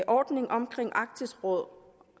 ordning omkring arktisk råd